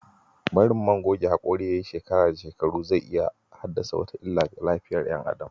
Barin man goge hakuri yayi shekara da shekaru zai iya haddasa wata illa ga lafiyar "yan adam.